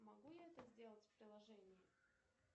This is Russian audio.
могу я это сделать в приложении